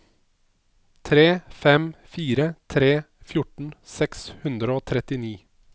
tre fem fire tre fjorten seks hundre og trettini